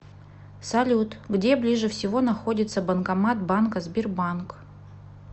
салют где ближе всего находится банкомат банка сбербанк